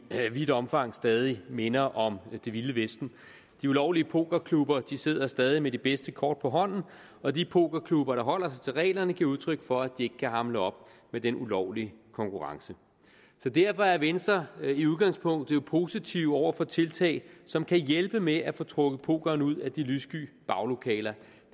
vidt omfang stadig minder om det vilde vesten de ulovlige pokerklubber sidder stadig med de bedste kort på hånden og de pokerklubber der holder sig til reglerne giver udtryk for at de ikke kan hamle op med den ulovlige konkurrence så derfor er venstre i udgangspunktet positiv over for tiltag som kan hjælpe med at få trukket pokeren ud af de lyssky baglokaler